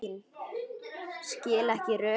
Skil ekki rökin.